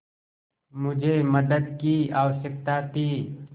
मुझे मदद की आवश्यकता थी